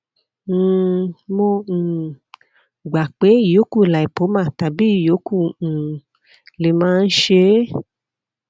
um mo um gbà pé ìyókù lipoma tàbí ìyókù um lè máa ń ṣe é